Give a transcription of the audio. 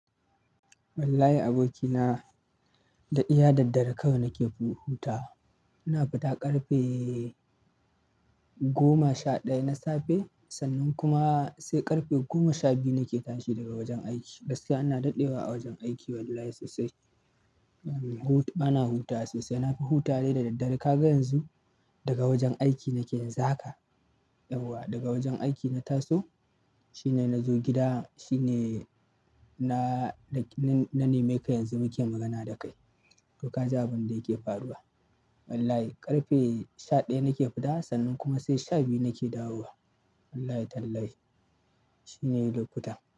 Wallahi abokina, da iya daddare kawai nake hutawa. Ina fita ƙarfe goma sha ɗaya na safe, sannan kuma sai ƙarfe goma sha biyu nake tashi daga wajen aiki. Gaskiya ina daɗewa a wajen aiki wallahi sosai. Bana hutawa sosai. Na fi hutawa dai da daddare. Ka ga yanzu daga wajen aiki nake yanzu haka. Yauwa daga wajen aiki na taso shine na zo gida shine na nemeka yanzu muke magana da kai. To ka ji abin da yake faruwa. Wallahi, ƙarfe sha ɗaya nake fita, sannan sai sha biyu nake dawowa. Wallahi tallahi shine lokutan.